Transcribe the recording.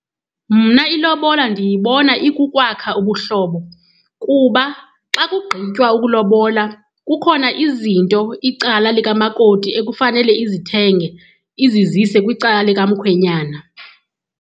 Mna ilobola ndiyibona ikukwakha ubuhlobo kuba xa kugqitywa ukulobola kukhona izinto, icala likamakoti ekufanele izithenge izizise kwicala likamkhwenyana.